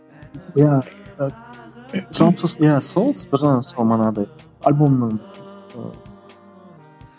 иә жалпы сол иә сол бір жағынан манағыдай альбомның ыыы